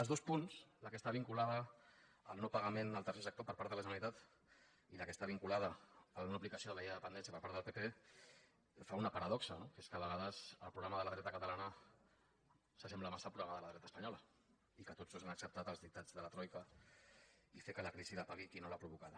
els dos punts el que està vinculat al no·pagament al tercer sector per part de la generalitat i el que es·tà vinculat a la no·aplicació de la llei de dependèn·cia per part del pp fan una paradoxa no que és que a vegades el programa de la dreta catalana s’assem·bla massa al programa de la dreta espanyola i que tots dos han acceptat els dictats de la troica i fer que la crisi la pagui qui no l’ha provocada